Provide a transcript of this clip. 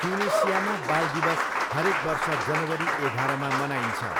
ट्युनिसियामा बाल दिवस हरेक वर्ष जनवरी एघारमा मनाइन्छ।